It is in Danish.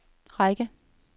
række